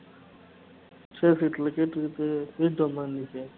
safe